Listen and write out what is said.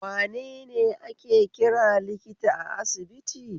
Wanene ake kira likita a asibiti?